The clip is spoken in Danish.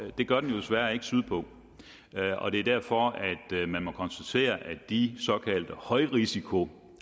det gør den jo desværre ikke sydpå og det er derfor at man må konstatere at de såkaldte højrisikoankomster